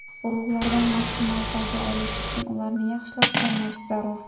Urug‘lardan maksimal foyda olish uchun ularni yaxshilab chaynash zarur.